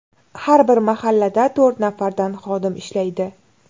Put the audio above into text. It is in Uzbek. Har bir mahallada to‘rt nafardan xodim ishlaydi.